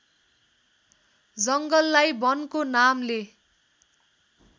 जङ्गललाई वनको नामले